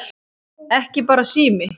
Ekki bara sími